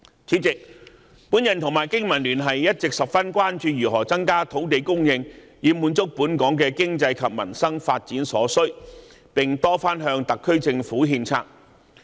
主席，我和香港經濟民生聯盟一直十分關注如何增加土地供應以滿足本港的經濟及民生發展所需，並多番向特區政府獻策。